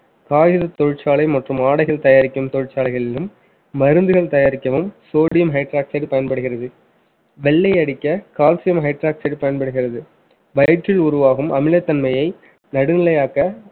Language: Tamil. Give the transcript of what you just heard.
காய்கறி தொழிற்சாலை மற்றும் ஆடைகள் தயாரிக்கும் தொழிற்சாலைகளிலும் மருந்துகள் தயாரிக்கவும் sodium hydroxide பயன்படுகிறது வெள்ளை அடிக்க calcium hydroxide பயன்படுகிறது வயிற்றில் உருவாகும் அமிலத்தன்மையை நடுநிலையாக்க